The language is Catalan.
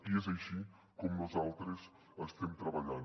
i és així com nosaltres estem treballant